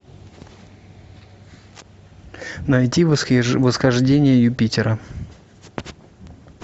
найди восхождение юпитера